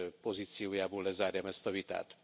pozíciójából lezárjam ezt a vitát.